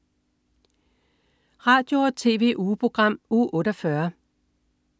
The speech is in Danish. Radio- og TV-ugeprogram Uge 48